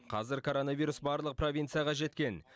қазір коронавирус барлық провинцияға жеткен